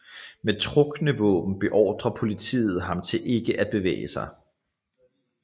Med trukne våben beordrer politiet ham til ikke at bevæge sig